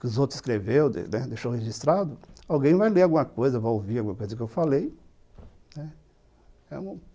que os outros escreveu, deixou registrado, alguém vai ler alguma coisa, vai ouvir alguma coisa que eu falei.